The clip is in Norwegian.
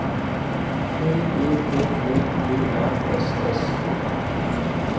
P E T T E R S S O N